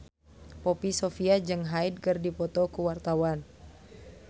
Poppy Sovia jeung Hyde keur dipoto ku wartawan